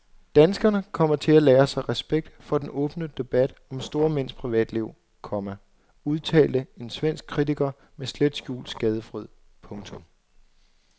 Danskerne kommer til at lære sig respekt for den åbne debat om store mænds privatliv, komma udtalte en svensk kritiker med slet skjult skadefryd. punktum